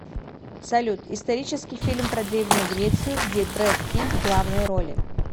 салют исторический фильм про древнюю грецию где брэд пит в главной роли